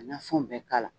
Nafanw bɛ k'a la